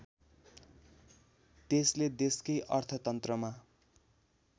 त्यसले देशकै अर्थतन्त्रमा